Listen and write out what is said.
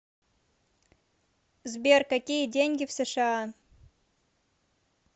сбер какие деньги в сша